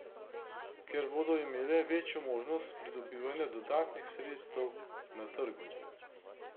Ker bodo imele večjo možnost pridobivanja dodatnih sredstev na trgu.